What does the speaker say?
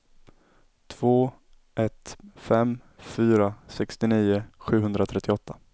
två ett fem fyra sextionio sjuhundratrettioåtta